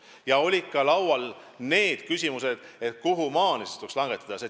Ja laual olid ka küsimused, kuhumaani siis tuleks aktsiise langetada.